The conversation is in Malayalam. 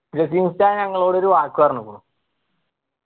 ജസീം ഉസ്താദ് ഞങ്ങളോട് ഒരു വാക്ക് പറഞ്ഞുക്കുണു